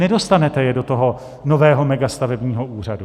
Nedostanete je do toho nového megastavebního úřadu.